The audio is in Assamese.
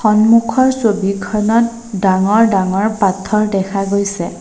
সন্মুখৰ ছবিখনত ডাঙৰ ডাঙৰ পাথৰ দেখা গৈছে।